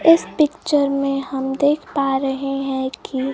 इस पिक्चर में हम देख पा रहे हैं कि--